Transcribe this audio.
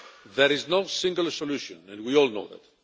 There is no single solution and we all know that.